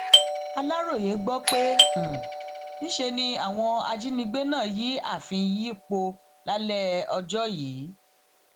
aláròye gbọ pé níṣe ni àwọn ajíngbé náà yìí ààfin yìí pọ lálẹ ọjọ yìí